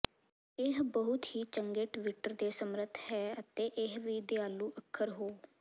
ਇਹ ਬਹੁਤ ਹੀ ਚੰਗੇ ਟਵਿੱਟਰ ਦੇ ਸਮਰੱਥ ਹੈ ਅਤੇ ਇਹ ਵੀ ਦਿਆਲੂ ਅੱਖਰ ਹੋ